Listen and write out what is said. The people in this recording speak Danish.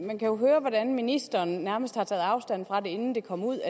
man kan jo høre hvordan ministeren nærmest har taget afstand fra det inden det kom ud